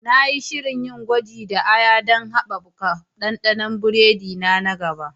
Na yi shirin yin gwaji da aya don haɓaka ɗanɗanon biredi na na gaba.